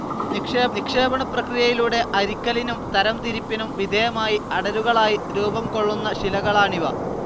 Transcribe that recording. നിക്ഷേപണപ്രക്രിയയിലൂടെ അരിക്കലിനും തരംതിരിപ്പിനും വിധേയമായി അടരുകളായി രൂപം കൊള്ളുന്ന ശിലകളാണിവ.